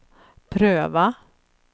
pröva